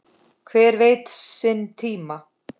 Hver veit sinn tíma?